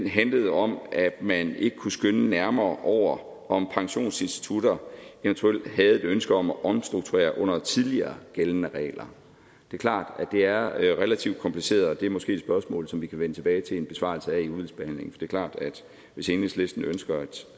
handlede om at man ikke kunne skønne nærmere over om pensionsinstitutter eventuelt havde et ønske om at omstrukturere under tidligere gældende regler det er klart at det er relativt kompliceret men det er måske et spørgsmål som vi kan vende tilbage til i en besvarelse i udvalgsbehandlingen det er klart at hvis enhedslisten ønsker et